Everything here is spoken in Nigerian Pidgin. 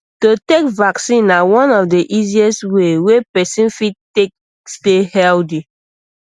to take vaccine na one of the easiest way wey person fit take stay healthy